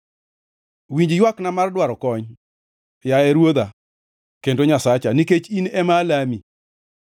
Winj ywakna mar dwaro kony, Yaye Ruodha kendo Nyasacha, nikech in ema alami.